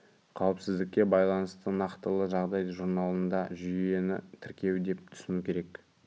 қауіпсіздікке байланысты нақтылы жағдай журналында жүйені тіркеу деп түсіну керек